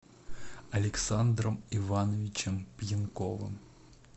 александром ивановичем пьянковым